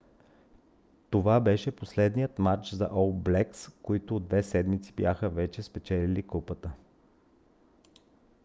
това беше последният мач за ол блекс които от две седмици бяха вече спечелили купата